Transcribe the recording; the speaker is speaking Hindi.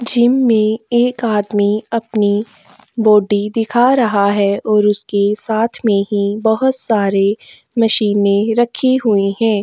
जिम में एक आदमी अपनी बोडी दिखा रहा है और उसके साथ में ही बहोत सारे मशीनें रखी हुई हैं।